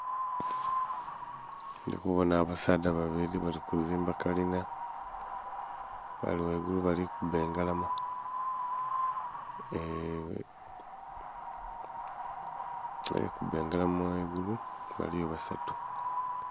Ndhi kubonha abasaadha babiri bali kuzimba kalina bali ghaigulu bali kuba engalama ee ..... Balikuba engalama ghangulu baliyo basatu.